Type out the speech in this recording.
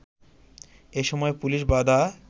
এ সময় পুলিশবাধা